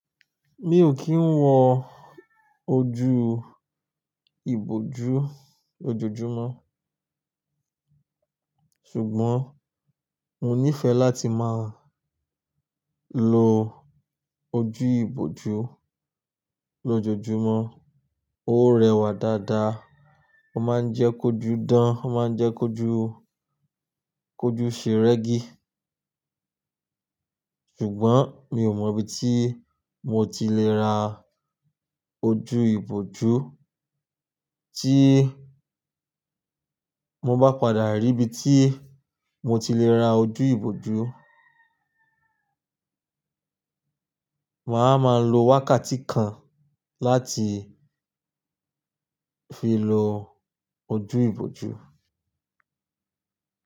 Mi ò kí ń wọ ojú ìbòjú lójoojúmọ́, ṣùgbọ́n mo nífẹẹ láti máa lo ojú ìbòjú lójoojúmọ́. Ó rẹwà dáadáa, ó máa ń jẹ́ kójú dán, ó máa ń jẹ́ kójú, kójú ṣeregi. Ṣùgbọ́n mi ò mọ ibi tí mo ti lè ra ojú ìbòjú. Tí mo bá padà rí ibi tí mo ti lè ra ojú ìbòjú, màá ma lo wákàtí kan láti fi lo ojú ìbòjú.